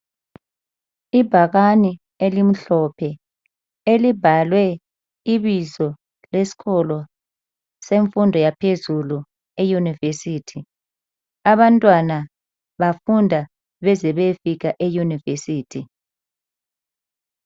Ibhakane elimhlophe elibhalwe ibizo leskolo semfundo yaphezulu eyunivesithi. Abantwana bafunda bezebeyefika eyunivesithi.